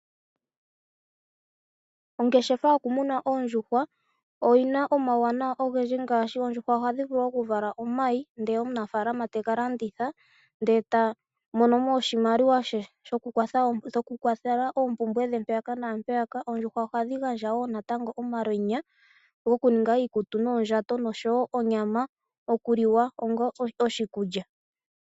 Ongeshefa yomuna oondjuhwa oyina omauwanawa ogendji ngaashi oondjuhwa ohadhi vulu okuvala omayi ndele omunafaalama tegalanditha ndele eta mono mo oshimaliwa she shokukwathela oompumbwe dhe mpaka naampeyaka. Oondjuhwa ohadhi gandja wo natango omalwenya gokuninga oondjato niikutu dho ohadhi gandja onyama yokuliwa onga oshikulya.